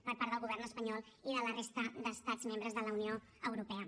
per part del govern espanyol i de la resta d’estats membres de la unió europea